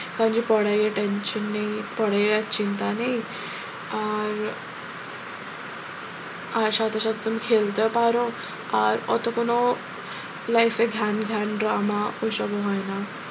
কারণ যে পড়ায় attention নেই পড়ায় আর চিন্তা নেই আর আর সাথে সাথে তুমি খেলতেও পারো আর অতো কোনো life এ ঘ্যানঘ্যান drama ওইসবও হয় না।